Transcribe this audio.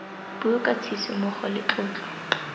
puo ka tshisimogo le tlotlo